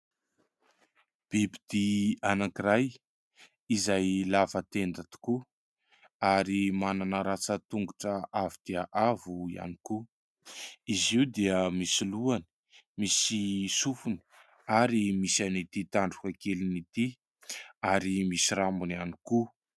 Biby dia anankiray izay lava tenda tokoa ary manana rantsan-tongotra avo dia avo ihany koa. Izy io dia misy lohany, misy sofony ary misy an' ity tandroka keliny ity ary misy rambony ihany koa.